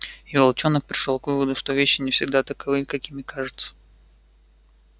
и волчонок пришёл к выводу что вещи не всегда таковы какими кажутся